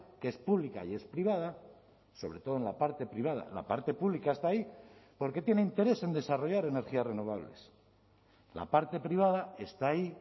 que es pública y es privada sobre todo en la parte privada la parte pública está ahí porque tiene interés en desarrollar energías renovables la parte privada está ahí